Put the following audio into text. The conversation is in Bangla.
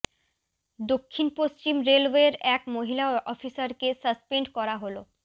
দক্ষিণ পশ্চিম রেলওয়ের এক মহিলা অফিসারকে সাসপেন্ড করা হল